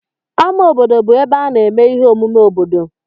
Ámá obodo bụ ebe a na-eme ihe omume obodo.